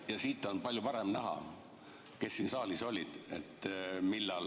Siit on palju paremini näha, kes millal siin saalis oli.